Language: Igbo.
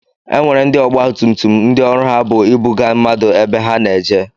E nwere ndị ọgba tum tum ndị ọrụ ha bu ịbụga mmadụ ebe ha na-eje.